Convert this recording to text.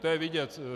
To je vidět.